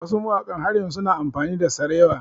Wasu mawaƙan har yanzu su na amfani da sarewa